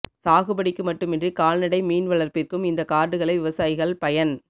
சாகுபடிக்கு மட்டுமின்றி கால்நடை மீன் வளர்ப்பிற்கும் இந்த கார்டுகளை விவசாயிகள் பயன்